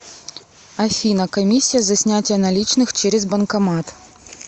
афина комиссия за снятие наличных через банкомат